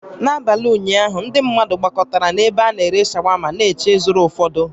N'abalị ụnyaahụ, ndị mmadụ gbakọtara na ebe ana-ere shawama na-eche ịzụrụ ụfọdụ